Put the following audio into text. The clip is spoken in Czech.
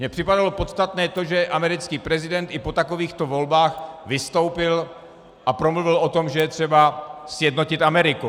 Mně připadalo podstatné to, že americký prezident i po takovýchto volbách vystoupil a promluvil o tom, že je třeba sjednotit Ameriku.